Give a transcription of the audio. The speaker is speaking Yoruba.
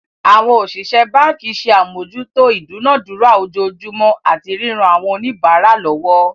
Àwọn òṣìṣẹ́ báǹkì ṣe àmójútó ìdúnadúrà ojoojúmọ́ àti ríran àwọn oníbàárà lọwọ́.